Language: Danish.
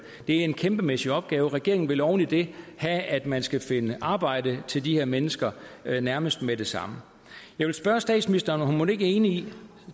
en kæmpemæssig opgave og regeringen vil oven i det have at man skal finde arbejde til de her mennesker nærmest med det samme jeg vil spørge statsministeren om hun mon ikke er enig i